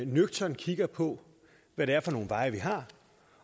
nøgternt kigger på hvad det er for nogle veje vi har